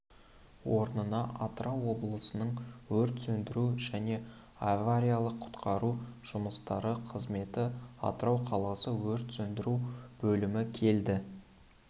орнына атырау облысының өрт сөндіру және авариялық-құтқару жұмыстары қызметі атырау қаласы өрт сөндіру бөлімі келді